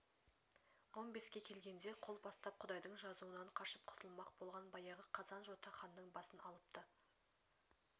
он беске келгенде қол бастап құдайдың жазуынан қашып құтылмақ болған баяғы қазан-жота ханның басын алыпты